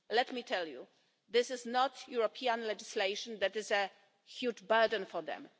Let me tell you, it is not European legislation that is a huge burden for them.